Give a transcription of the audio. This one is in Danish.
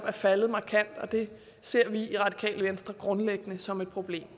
er faldet markant og det ser vi i radikale venstre grundlæggende som et problem